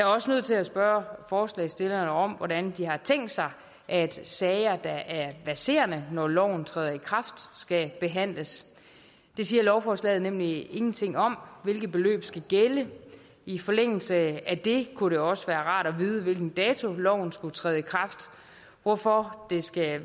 også nødt til at spørge forslagsstillerne om hvordan de har tænkt sig at sager der er verserende når loven træder i kraft skal behandles det siger lovforslaget nemlig ingenting om hvilke beløb skal gælde i forlængelse af det kunne det også være rart at vide hvilken dato loven skulle træde i kraft hvorfor skal